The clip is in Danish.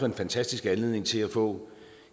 en fantastisk anledning til at få